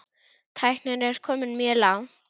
Tæknin er komin mjög langt.